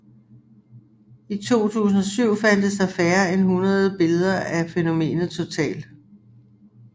I 2007 fandtes der færre end hundrede billeder af fænomenet totalt